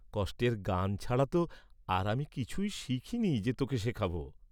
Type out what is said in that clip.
কষ্টের গান ছাড়া তো আর আমি কিছুই শিখিনি যে তোকে শেখাব।